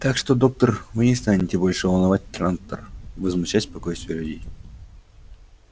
так что доктор вы не станете больше волновать трантор и возмущать спокойствие людей